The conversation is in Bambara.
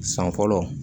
San fɔlɔ